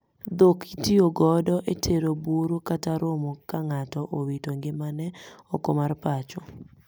Dhok itiyo godo e tero buru kata romo ka ngato owito ngimane oko mar pacho